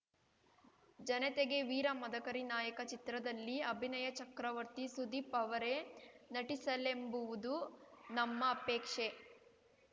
ಜನತೆಗೆವೀರ ಮದಕರಿ ನಾಯಕ ಚಿತ್ರದಲ್ಲಿ ಅಭಿನಯ ಚಕ್ರವರ್ತಿ ಸುದೀಪ್‌ ಅವರೇ ನಟಿಸಲೆಂಬುವುದು ನಮ್ಮ ಅಪೇಕ್ಷೆ